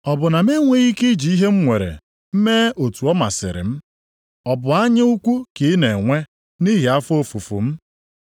Ọ bụ na m enweghị ike iji ihe m nwere mee otu ọ masịrị m? Ọ bụ anya ukwu ka ị na-enwe nʼihi afọ ofufu m?’